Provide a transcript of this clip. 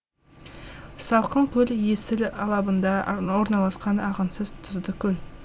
салқынкөл есіл алабында орналасқан ағынсыз тұзды көл